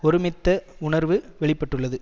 ஒருமித்த உணர்வு வெளி பட்டுள்ளது